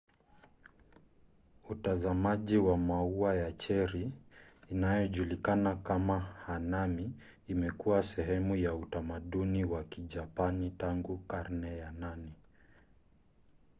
utazamaji wa maua ya cheri inayojulikana kama hanami imekuwa sehemu ya utamaduni wa kijapani tangu karne ya 8